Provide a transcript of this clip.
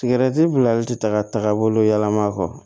Sigɛrɛti bilali tɛ taa ka taaga bolo yɛlɛma kɔ